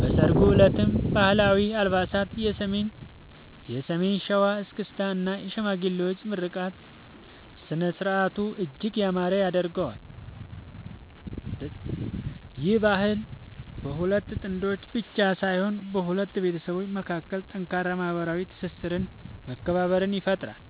በሠርጉ ዕለትም ባህላዊ አልባሳት፣ የሰሜን ሸዋ እስክስታ እና የሽማግሌዎች ምርቃት ሥነ-ሥርዓቱን እጅግ ያማረ ያደርጉታል። ይህ ባህል በሁለት ጥንዶች ብቻ ሳይሆን በሁለት ቤተሰቦች መካከል ጠንካራ ማኅበራዊ ትስስርና መከባበርን ይፈጥራል።